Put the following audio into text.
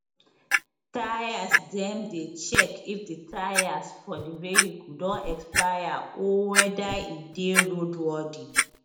tyresdem dey check if di tyres for di vehicle don expire or weda e dey road worthy